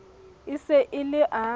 e se e le a